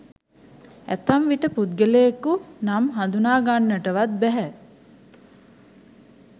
ඇතැම් විට පුද්ගලයකු නම් හඳුනාගන්නටවත් බැහැ.